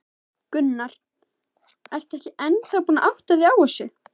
Gunnar: Ertu ekki ennþá búin að átta þig á þessu?